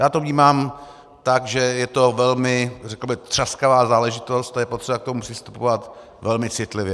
Já to vnímám tak, že je to velmi řekl bych třaskavá záležitosti a je potřeba k tomu přistupovat velmi citlivě.